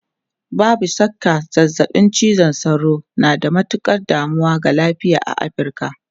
Babu shakka, zazzabin cizon sauro na da matukar damuwa ga lafiya a Afirka.